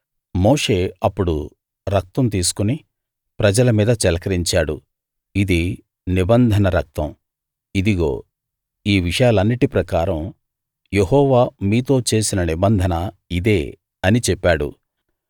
మోషే అప్పుడు రక్తం తీసుకుని ప్రజల మీద చిలకరించాడు ఇది నిబంధన రక్తం ఇదిగో ఈ విషయాలన్నిటి ప్రకారం యెహోవా మీతో చేసిన నిబంధన ఇదే అని చెప్పాడు